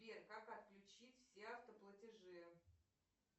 сбер как отключить все автоплатежи